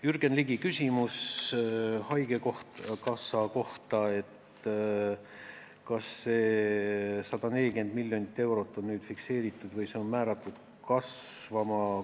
Jürgen Ligi küsis haigekassa kohta, et kas see 140 miljonit eurot on fikseeritud või on see määratud kasvama.